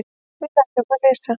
Við lærum að lesa.